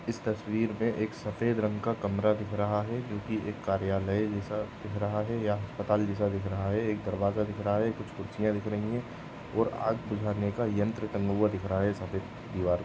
इस तस्वीर में एक सफेद रंग का कमरा दिख रहा है जो कि एक कार्यालय जैसा दिख रहा है या अस्पताल जैसा दिख रहा है एक दरवाजा दिख रहा है कुछ कुर्सियां दिख रही है और आग बुझाने का यंत्र टंगा हुआ दिख रहा है। सभी दिवार--